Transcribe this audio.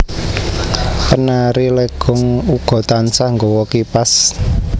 Penari Legong uga tansah nggawa kipas